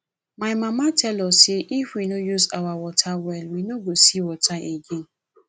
my mama tell us say if we no use our water well we no go see water again